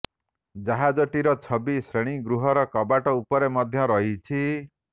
ଜାହାଜଟିର ଛବି ଶ୍ରେଣୀ ଗୃହର କବାଟ ଉପରେ ମଧ୍ୟ ରହିଛି